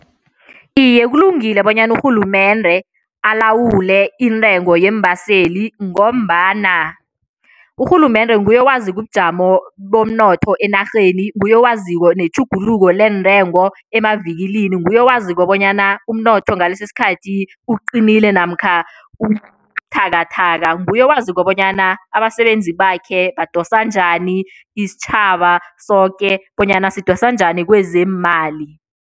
Iye, kulungile bonyana urhulumende alawule intengo yeembaseli ngombana urhulumende nguye owaziko ubujamo bomnotho enarheni, nguye owaziko netjhuguluko leentengo emavikilini, nguye owaziko bonyana umnotho ngalesi isikhathi uqinile namkha ubuthakathaka, nguye owaziko bonyana abasebenzi bakhe badosa njani, isitjhaba soke bonyana sidosa njani kwezeemali.